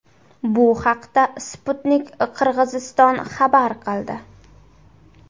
Bu haqda Sputnik Qirg‘iziston xabar qildi.